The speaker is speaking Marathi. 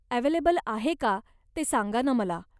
अव्हेलेबल आहे का ते सांगा ना मला.